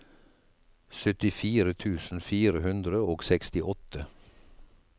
syttifire tusen fire hundre og sekstiåtte